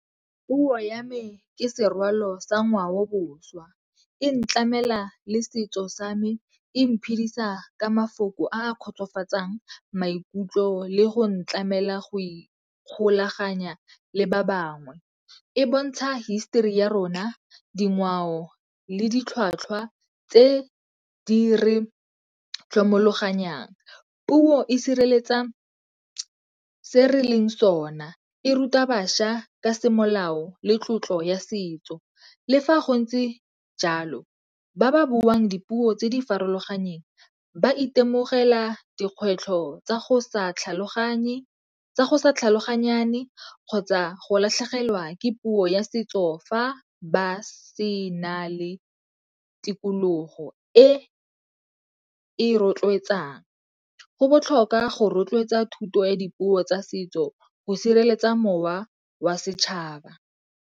Puo ya me ke serwalo sa ngwao boswa. E ntlamela le setso sa me, e mphidisa ka mafoko a kgotsofatsang maikutlo le go ntlamela go ikgolaganya le ba bangwe. E bontsha hisitori ya rona, dingwao le ditlhwatlhwa tse di re tlhomoganyang. Puo e sireletsa se re leng sona, e ruta bašwa ka semolao le tlotlo ya setso. Le fa go ntse jalo ba ba buang dipuo tse di farologaneng ba itemogela dikgwetlho tsa go sa tlhaloganyane kgotsa go latlhegelwa ke puo ya setso fa ba sena le tikologo e e rotloetsang. Go botlhokwa go rotloetsa thuto ya dipuo tsa setso go sireletsa mowa wa setšhaba.